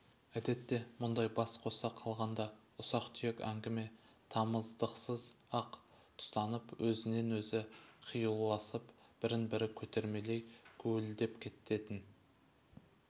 әдетте мұндай бас қоса қалғанда ұсақ-түйек әңгіме тамыздықсыз-ақ тұтанып өзінен-өзі қиюласып бірін-бірі көтермелей гулідеп кететін